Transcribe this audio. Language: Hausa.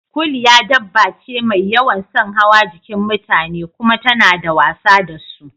Kuliya dabba ce mai yawan son hawa jikin mutane kuma tana wasa da su